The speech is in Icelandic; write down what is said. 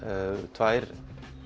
tvær